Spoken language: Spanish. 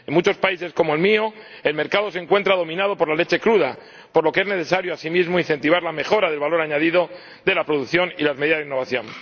En muchos países, como el mío, el mercado se encuentra dominado por la leche cruda, por lo que es necesario, asimismo, incentivar la mejora del valor añadido de la producción y las medidas de innovación.